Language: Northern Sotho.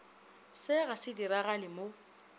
se ga se diragale mo